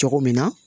Cogo min na